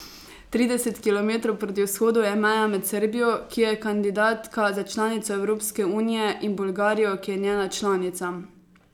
Trideset kilometrov proti vzhodu je meja med Srbijo, ki je kandidatka za članico Evropske unije, in Bolgarijo, ki je njena članica.